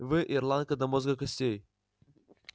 вы ирландка до мозга костей